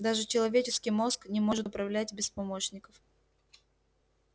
даже человеческий мозг не может управлять без помощников